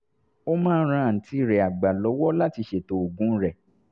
ó máa ń ran àǹtí rẹ̀ àgbà lọ́wọ́ láti ṣètò oògùn rẹ̀